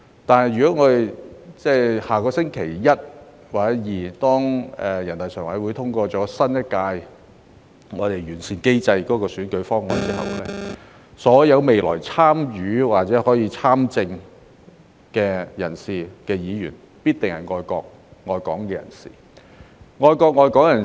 但如果下星期一或星期二，人大常委會通過有關新一屆立法會選舉的完善選舉制度的方案後，所有未來參與選舉或參政的人士，必定是愛國、愛港人士。